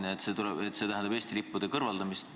Teie küüniliselt arvate, et see tähendab Eesti lippude kõrvaldamist.